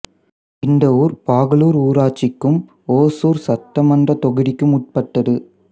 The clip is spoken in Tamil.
இந்த ஊர் பாகலூர் ஊராட்சிக்கும் ஒசூர் சட்டமன்றத் தொகுதிக்கும் உட்பட்டது